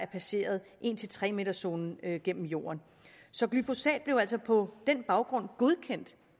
passeret en tre meters zonen gennem jorden så glyfosat blev altså på den baggrund godkendt